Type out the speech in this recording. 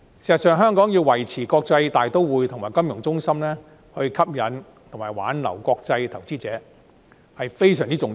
事實上，香港若要維持國際大都會及金融中心的地位，吸引和挽留國際投資者非常重要。